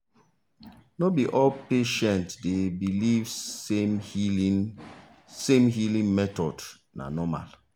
no be all patient dey believe same healing same healing method na normal.